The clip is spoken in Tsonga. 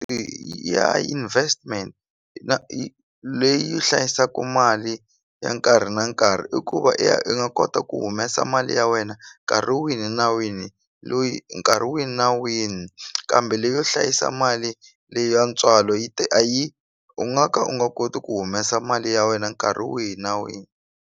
ya investment leyi hlayisaku mali ya nkarhi na nkarhi i ku va i ya i nga kota ku humesa mali ya wena nkarhi wini na wini loyi nkarhi wini na wini kambe leyo hlayisa mali le ya ntswalo yi a yi u nga ka u nga koti ku humesa mali ya wena nkarhi wihi na wihi.